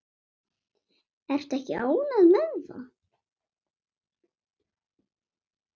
Ertu ekki ánægð með það?